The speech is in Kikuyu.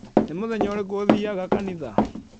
Nĩ mũthenya ũrĩkũ ũthiiaga kanitha?